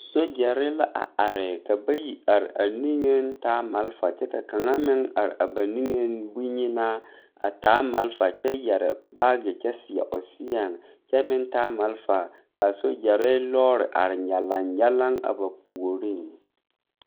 Sogyɛre la are ka bayi are a nigeŋ a taa malfa kyɛ ka kaŋa meŋ are ba nigeŋ bonyenaa a taa malfa kyɛ yɛre baage kyɛ seɛ o seɛŋ kyɛ meŋ taa malfa ka a Sogyɛre lɔɔre are nyalaŋ nyalaŋ a ba puoriŋ.